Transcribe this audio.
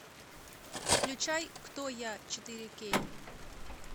включай кто я четыре кей